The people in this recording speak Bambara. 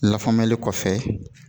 Lafaamuyali kɔfɛ